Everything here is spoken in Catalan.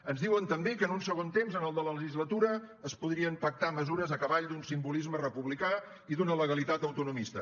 ens diuen també que en un segon temps en el de la legislatura es podrien pactar mesures a cavall d’un simbolisme republicà i d’una legalitat autonomista